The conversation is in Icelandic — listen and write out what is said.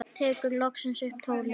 Tekur loksins upp tólið.